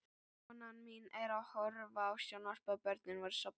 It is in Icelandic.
Konan mín var að horfa á sjónvarpið, börnin voru sofnuð.